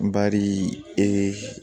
Bari ee